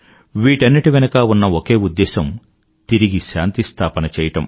వీటాన్నింటి వెనుకా ఉన్న ఒకే ఉద్దేశ్యం తిరిగి శాంతి స్థాపన చెయ్యడం